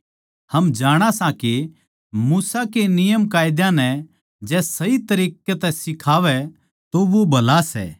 हम जाणा सां के मूसा के नियमकायदा नै जै सही तरिक्कें तै सिखावै तो वो भला सै